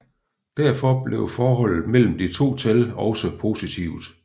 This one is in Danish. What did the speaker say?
Derfor bliver forholdet mellem de to tal også positivt